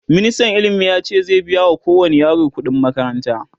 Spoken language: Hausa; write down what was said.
ministan ilimi yace za'q biya wa kowani yaro ƙuɗi n makaranta